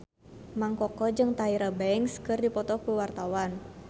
Mang Koko jeung Tyra Banks keur dipoto ku wartawan